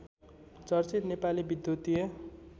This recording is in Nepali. चर्चित नेपाली विद्युतीय